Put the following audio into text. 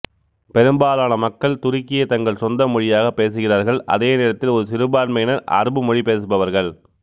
பெரும்பாலான மக்கள் துருக்கியை தங்கள் சொந்த மொழியாகப் பேசுகிறார்கள் அதே நேரத்தில் ஒரு சிறுபான்மையினர் அரபு மொழி பேசுபவர்கள்